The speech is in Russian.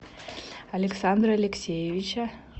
александра алексеевича